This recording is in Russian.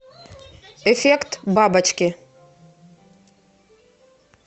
эффект бабочки